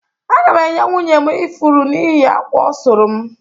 Aga m enye nwunye m ifuru n’ihi akwa ọ sụrụ m